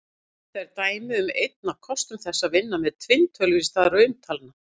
Þetta er dæmi um einn af kostum þess að vinna með tvinntölur í stað rauntalna.